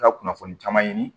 Ka kunnafoni caman ɲini